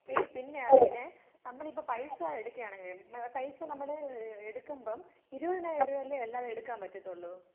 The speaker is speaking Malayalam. എടി പിന്നെയാണെങ്കില് നമ്മളിപ്പോ പൈസ എടുക്കുകയാണെങ്കിലെ ഏഹ് പൈസ നമ്മൾ ഏഹ് എടുക്കുമ്പോ ഇരുവത്തിനായിരം രൂപ അല്ലെ അല്ലാതെ എടുക്കാൻ പറ്റാത്തോളു?